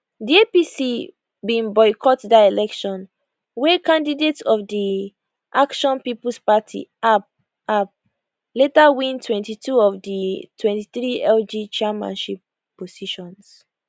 di apc bin boycott dat election wey candidates of di action peoples party app app later win 22 out of di 23 lg chairmanship positions